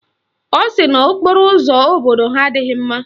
Ọ sị na okporo ụzọ obodo ha adịghị mma